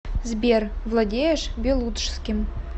сбер владеешь белуджским